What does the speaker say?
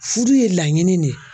Furu ye laɲini de ye